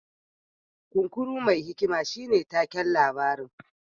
Kunkuru mai hikima shine taken labarin